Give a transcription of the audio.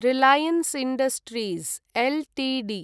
Reliance Industries Ltd